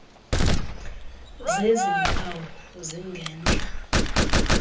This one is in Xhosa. zezi mpawu zingentla